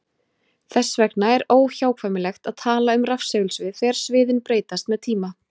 Þess vegna er óhjákvæmilegt að tala um rafsegulsvið þegar sviðin breytast með tíma.